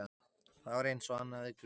Það var eins og hann hafði grunað.